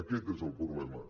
aquest és el problema